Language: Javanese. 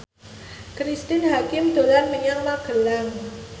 Cristine Hakim dolan menyang Magelang